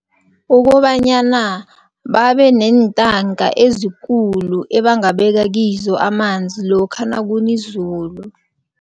Ukobanyana babeneentaka ezikulu ebangabeka kizo amanzi lokha nakuna izulu.